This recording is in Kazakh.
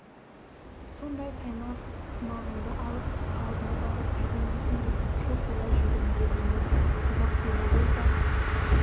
сонда таймас тымағыңды алып алдына барып жүгін дейсің бе жоқ олай жүгінуге болмайды қазақ дене болса